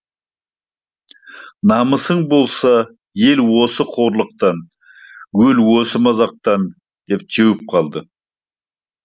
намысың болса ел осы қорлықтан өл осы мазақтан деп теуіп қалды